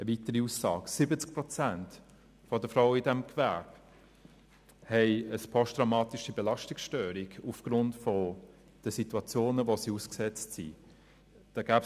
Eine weitere Aussage: 70 Prozent der Frauen in diesem Gewerbe leiden aufgrund der Situationen, denen sie ausgesetzt sind, unter einer posttraumatischen Belastungsstörung.